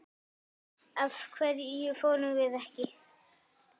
Af hverju fórum við ekki?